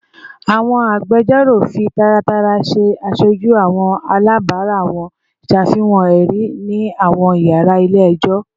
Awọn agbẹjọro fi taratara ṣe aṣoju awọn alabara wọn, ṣafihan ẹri ni awọn yara ile-ẹjọ